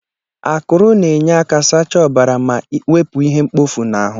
Ákùrù na-enye aka sachaa ọbara ma wepụ ihe mkpofu n'ahụ.